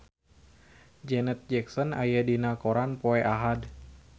Janet Jackson aya dina koran poe Ahad